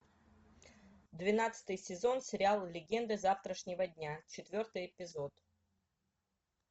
двенадцатый сезон сериал легенды завтрашнего дня четвертый эпизод